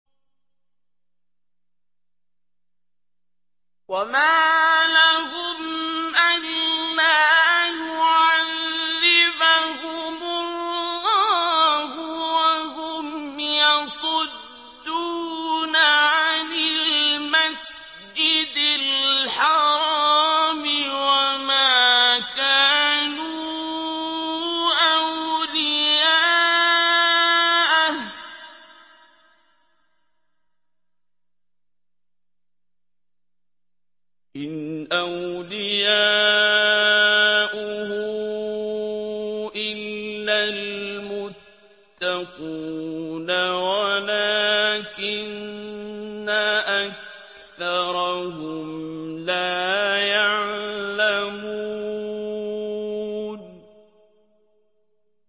وَمَا لَهُمْ أَلَّا يُعَذِّبَهُمُ اللَّهُ وَهُمْ يَصُدُّونَ عَنِ الْمَسْجِدِ الْحَرَامِ وَمَا كَانُوا أَوْلِيَاءَهُ ۚ إِنْ أَوْلِيَاؤُهُ إِلَّا الْمُتَّقُونَ وَلَٰكِنَّ أَكْثَرَهُمْ لَا يَعْلَمُونَ